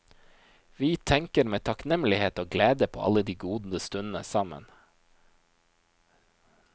Vi tenker med takknemlighet og glede på alle de gode stundene sammen.